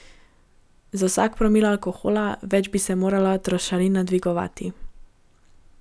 Za vsak promil alkohola več bi se morala trošarina dvigovati.